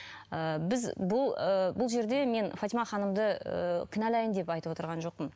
ыыы біз ы бұл жерде мен фатима ханымды ы кіналайын деп айтып отырған жоқпын